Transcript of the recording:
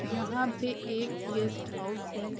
जहाँ पे एक गेस्ट हाउस है।